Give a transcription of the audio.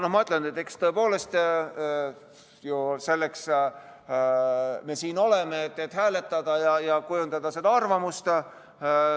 Ma mõtlen, et tõepoolest selleks me siin ju oleme, et hääletada ja kujundada seda arvamust.